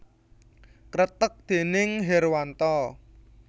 Kreteg déning Herwanto